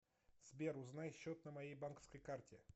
сбер узнай счет на моей банковской карте